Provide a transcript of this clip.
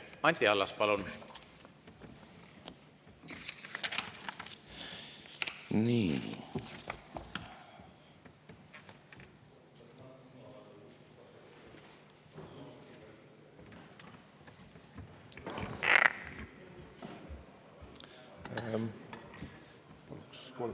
Anti Allas, palun!